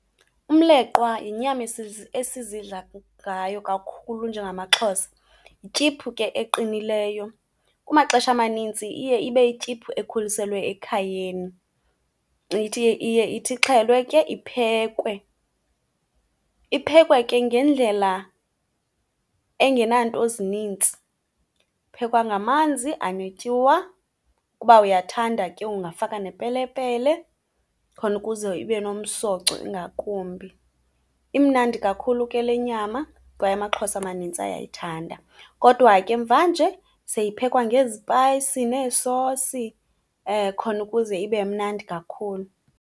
Umleqwa yinyama esizidla ngayo kakhulu njengamaXhosa. Yityiphu ke eqinileyo, kumaxesha amanintsi iye ibe yityiphu ekhuliselwe ekhayeni. Iye ithi ixhelwe ke iphekwe. Iphekwe ke ngendlela engenanto zinintsi. Iphekwa ngamanzi anetyuwa, uba uyathanda ke ungafaka nepelepele, khona ukuze ibe nomsoco ingakumbi. Imnandi kakhulu ke le nyama kwaye amaXhosa amanintsi ayayithanda. Kodwa ke mvanje seyiphekwa ngezipayisi neesosi khona ukuze ibe imnandi kakhulu.